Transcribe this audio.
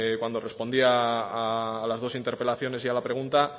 cuando respondía a las dos interpelaciones y a la pregunta